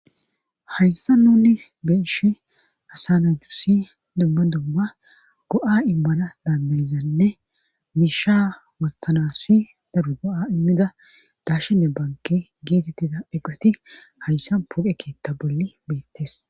hayssa nuni beeshi asananhu si dumma dumma go7a immana dandayizanne miisha wotanassi daru go7a immida dashinne banki geetettida eqeti hayssa puqe keetta bolli beettees